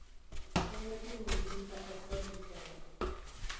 nyalwa ke modipa april letsoalo